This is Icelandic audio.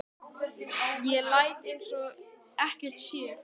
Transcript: Ég læt eins og ekkert sé.